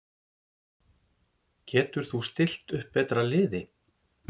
Getur þú stillt upp betra liði?